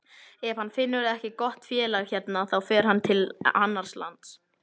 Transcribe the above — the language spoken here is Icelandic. Ef hann finnur ekki gott félag hérna þá fer hann til annars lands.